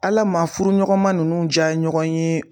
Ala maa furu ɲɔgɔnma nunnu ja ɲɔgɔn ye